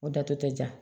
O da tun tɛ ja